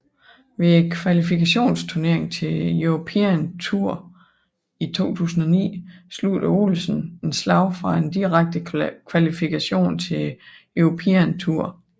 Ved kvalifikationsturneringen til European Tour i 2009 sluttede Olesen et slag fra en direkte kvalifikation til European Tour